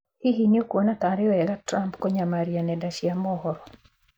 Hihi nĩ ũkuona ta arĩ wega Trump kũnyamaria nenda cia mohoro?